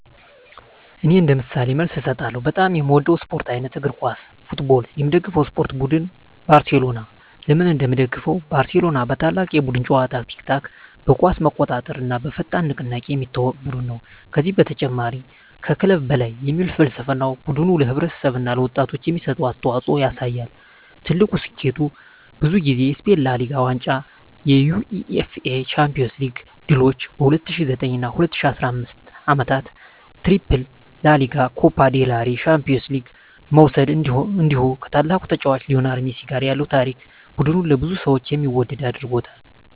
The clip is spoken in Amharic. እኔ እንደ ምሳሌ መልስ እሰጣለሁ፦ በጣም የምወደው የስፖርት አይነት: እግር ኳስ (Football) የምደግፈው የስፖርት ቡድን: ባርሴሎና (FC Barcelona) ለምን እንደምደግፈው: ባርሴሎና በታላቅ የቡድን ጨዋታ (tiki-taka)፣ በኳስ መቆጣጠር እና በፈጣን ንቅናቄ የሚታወቅ ቡድን ነው። ከዚህ በተጨማሪ “Mes que un club” (ከክለብ በላይ) የሚል ፍልስፍናው ቡድኑ ለማህበረሰብ እና ለወጣቶች የሚሰጠውን አስተዋፅኦ ያሳያል። ትልቁ ስኬቱ: ብዙ ጊዜ የስፔን ላ ሊጋ ዋንጫ የUEFA ቻምፒዮንስ ሊግ ድሎች በ2009 እና 2015 ዓመታት “ትሪፕል” (ላ ሊጋ፣ ኮፓ ዴል ሬይ፣ ቻምፒዮንስ ሊግ) መውሰድ እንዲሁ ከታላቁ ተጫዋች ሊዮኔል ሜሲ ጋር ያለው ታሪክ ቡድኑን ለብዙ ሰዎች የሚወደድ አድርጎታል።